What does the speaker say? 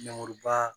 Man